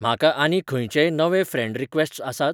म्हाका आनी खंयचेय नवे फ्रँड रीक्वॅस्ट्स आसात?